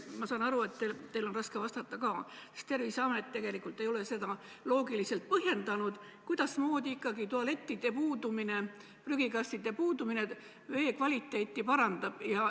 Ma saan aru, et teil on raske vastata ka, sest Terviseamet tegelikult ei ole seda loogiliselt põhjendanud, kuidasmoodi ikkagi tualettide ja prügikastide puudumine vee kvaliteeti parandab.